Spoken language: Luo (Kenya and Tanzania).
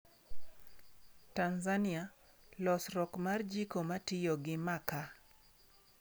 Tanzania: Losruok mar jiko matiyo gi makaa